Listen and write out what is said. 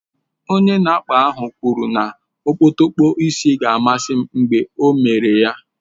Onye na-akpa ahụ kwuru na okpotokpo isi ga-amasị m mgbe ọ mere ya